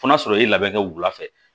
Fo n'a sɔrɔ i labɛn wula fɛ